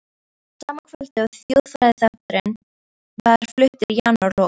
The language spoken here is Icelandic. Sama kvöldið og þjóðfræðiþátturinn var fluttur í janúarlok